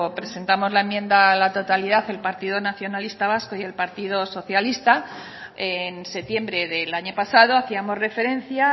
presentamos la enmienda a la totalidad el partido nacionalista vasco y el partido socialista en septiembre del año pasado hacíamos referencia a